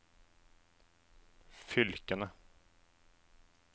fylkene